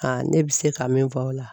ne bɛ se ka min fɔ o la.